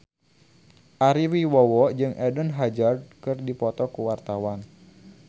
Ari Wibowo jeung Eden Hazard keur dipoto ku wartawan